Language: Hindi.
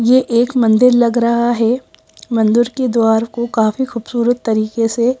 ये एक मंदिर लग रहा है मंदिर के द्वार को काफी खूबसूरत तरीके से--